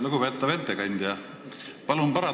Lugupeetav ettekandja!